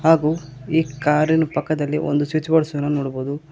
ಹಾಗೂ ಈ ಕಾರಿನ ಪಕ್ಕದಲ್ಲಿ ಒಂದು ಸ್ವಿಚ್ಬೋರ್ಡ್ ಸಹ ನೋಡಬಹುದು.